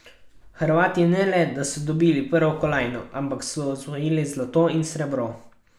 Hrvati ne le, da so dobili prvo kolajno, ampak so osvojili zlato in srebro.